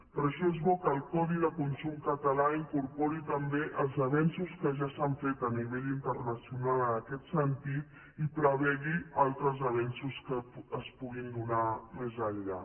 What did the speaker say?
per això és bo que el codi de consum català incorpori també els avenços que ja s’han fet a nivell internacional en aquest sentit i prevegi altres avenços que es puguin donar més enllà